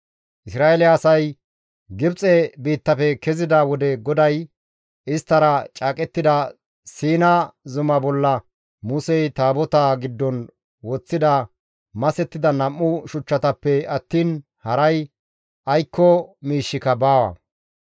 Isra7eele asay Gibxe biittafe kezida wode GODAY isttara caaqettida Siina zuma bolla Musey Taabotaa giddon woththida masettida nam7u shuchchatappe attiin haray aykko miishshika baawa.